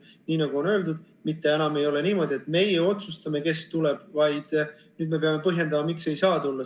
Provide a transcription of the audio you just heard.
Nii nagu on öeldud, et enam ei ole niimoodi, et meie otsustame, kes tuleb, vaid nüüd me peame põhjendama, miks ei saa tulla.